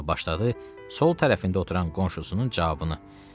Sonra başladı sol tərəfində oturan qonşusunun cavabını.